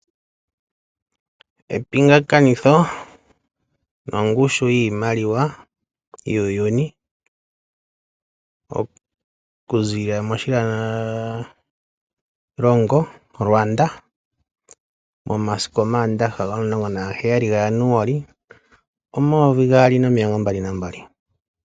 Epingakanitho nongushu yiimaliwa yuuyuni okuziilila moshilongo shaRwanda momasiku omaandaha omasiku 17 Januali 2022.